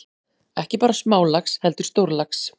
Ekki bara smálax heldur stórlax.